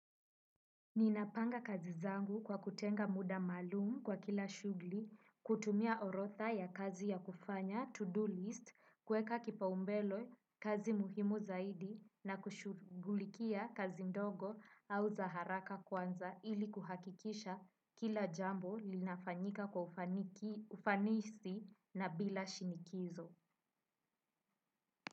Ninapanga kazi zangu kwa kutenga muda malumu kwa kila shugli, kutumia orotha ya kazi ya kufanya to do list, kueka kipaumbele kazi muhimu zaidi na kushugulikia kazi ndogo au za haraka kwanza ili kuhakikisha kila jambo linafanyika kwa ufanisi na bila shinikizo.